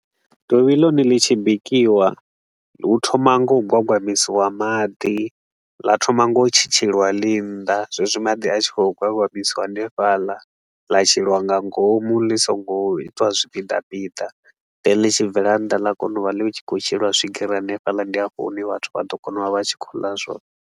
Dovhi ḽone ḽi tshi bikiwa hu thoma nga u gwagwamisiwa maḓi, ḽa thoma nga u tshi tshetsheliwa ḽi nnḓa, zwezwi madi a tshi khou gwagwamisiwa hanefhaḽa, ḽa sheliwa nga ngomu ḽi so ngo itwa zwipiḓa pida. Then ḽi tshi bvela nnḓa ḽa kona u vha ḽi tshi khou sheliwa swigiri hanefhaḽa, ndi hafho hune vhathu vha ḓo kona u vha vha tshi khou ḽa zwone.